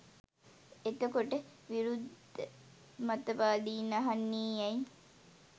එතකොට විරුද්ද මතවාදීන් අහන්නෙ ඇයි